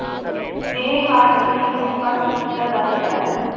ਇਹ ਹਾਰਡ ਪਨੀਰ ਨੂੰ ਕੱਟ ਕੀਤਾ ਜਾ ਸਕਦਾ ਹੈ